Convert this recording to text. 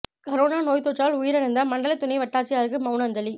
corona நோய்த் தொற்றால் உயிரிழந்த மண்டல துணை வட்டாட்சியருக்கு மவுன அஞ்சலி